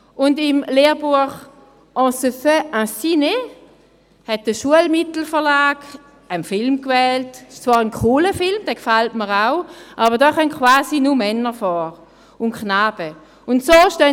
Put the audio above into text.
Und für das Lehrbuch «On se fait un ciné?» hat der Schulmittelverlag einen Film gewählt – es ist zwar ein cooler Film, er gefällt mir auch –, in dem quasi nur Männer und Knaben vorkommen.